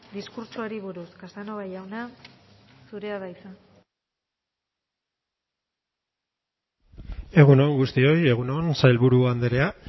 diskurtsoari buruz casanova jauna zurea da hitza egun on guztioi egun on sailburu andrea